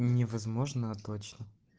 невозможно а точно